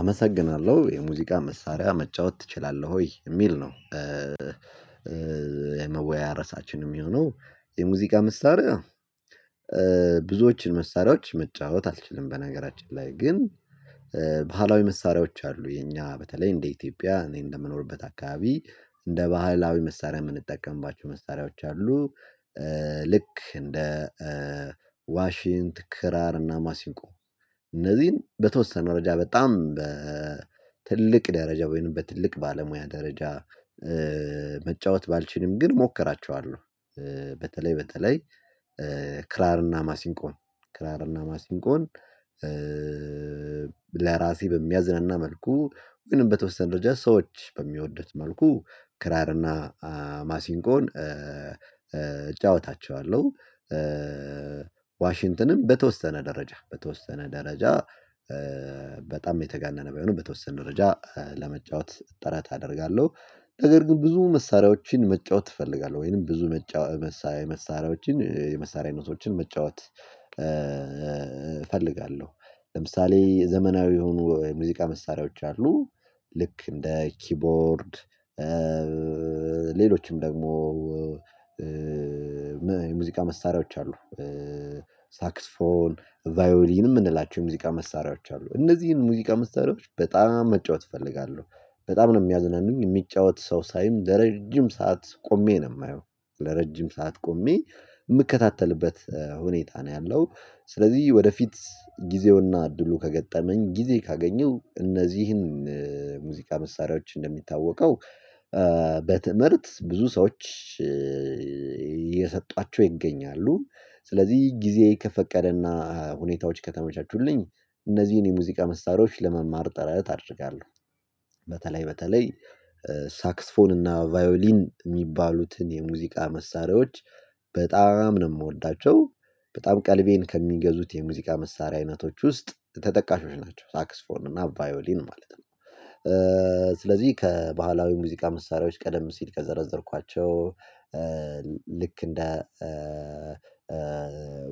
አመሰግናለሁ የሙዚቃ መሳሪያ መጫወት ትችላለሁ ወይ የሚል ነው? ራሳችን የሚሆነው የሙዚቃ መሳሪያ ብዙዎችን መሳሪያዎች መጫወት አልችልም። በነገራችን ላይ ግን ባህላዊ መሳሪያዎች አሉ የኛ በተለይ እንደ ኢትዮጵያ እኔ እንደምኖርበት አካባቢ እንደ ባህላዊ መሳሪያ የምንጠቀምባችሁ መሳሪያዎች አሉ። ልክ እንደ ዋሺንት ክራር እና ማሲንቆ እነዚህን በተወሰነ መረጃ በጣም በትልቅ ደረጃ ወይንም በትልቅ ባለሙያ ደረጃ መጫወት ባልችልም ግን እሞክራቸዋለሁ። በተለይ በተለይ ክራርና ማሲንቆን ክራርና ማሲንቆን ለራሴ በሚያዝነና መልኩ ግን በተወሰነ ደረጃ ሰዎች በሚወዱት መልኩ ክራርና ማሲንቆን እጫወታቸዋለሁ። ዋሽንተትንም በተወሰነ ደረጃ በተወሰነ ደረጃ በጣም የተጋነነ ባሆንም በተወሰነ ደረጃ ለመጫወት ጥረት አደርጋለሁ። ነገር ግን ብዙ መሳሪያዎችን መጫወት እፈልጋለሁ ወይንም ብዙ መጫወት መሳሪያዎችን የመሳሪያ ነጥቦችን መጫወት እፈልጋለሁ። ለምሳሌ የዘመናዊ የሆኑ የሙዚቃ መሳሪያዎች አሉ። ልክ እንደ ኪቦርድ ሌሎችም ደግሞ የሙዚቃ መሳሪያዎች አሉ። ሳክስፎን ቫዮሊን የምንላቸው የሙዚቃ መሳሪያዎች አሉ እነዚህን ሙዚቃ መሳሪያዎች በጣም መጫወት እፈልጋለሁ። በጣም ነው የሚያዝናኑኝ የሚጫወት ሰው ሳይም ለረጅም ሰዓት ቆሜ ነው የማየው ለረጅም ሰዓት ቆሜ የምከታተልበት ሁኔታ ነው ያለው። ስለዚህ ወደፊት ጊዜውና እድሉ ከገጠመኝ ጊዜ ካገኘው እነዚህን ሙዚቃ መሳሪያዎች እንደሚታወቀው በትምህርት ብዙ ሰዎች እየሰጧቸው ይገኛሉ ስለዚህ ጊዜ ከፈቀደና ሁኔታዎች ከተመቻቹልኝ እነዚህን የሙዚቃ መሳሪያዎች ለመማር ጥረት አድርጋለሁ። በተለይ በተለይ ሳክስፎን እና ቫዮሊን የሚባሉትን የሙዚቃ መሳሪያዎች በጣም ነው የምወዳቸው። በጣም ቀልቤን ከሚገዙት የሙዚቃ መሳሪያ አይነቶች ውስጥ ተጠቃሾች ናቸው ሳክስፎን እና ቫዮሊን ማለት ነው። ስለዚህ ከባህላዊ ሙዚቃ መሳሪያዎች ቀደም ሲል ከዘረዘርኳቸው ልክ እንደ